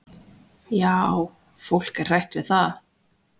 """Já, fólk er hrætt við það."""